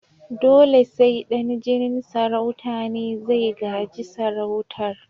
Dole sai dan jinin sarauta ne zai gaji sarautar